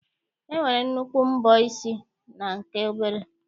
E nwere nnukwu mbọ isi na nke obere.